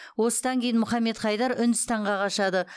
осыдан кейін мұхаммед хайдар үндістанға қашады